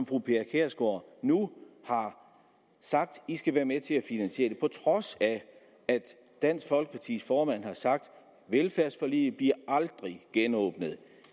fru pia kjærsgaard nu har sagt i skal være med til at finansiere det på trods af at dansk folkepartis formand har sagt velfærdsforliget bliver aldrig genåbnet